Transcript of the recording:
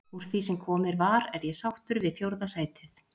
Úr því sem komið var er ég sáttur við fjórða sætið.